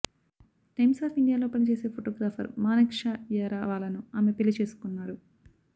times of ఇండియాలో పనిచేసే photographer Manek Shaw వ్యారవాలాను ఆమె పెళ్లి చేసుకున్నారు